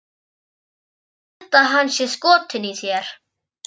Ég held að hann sé skotinn í þér